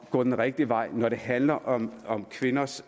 at gå den rigtige vej når det handler om om kvinders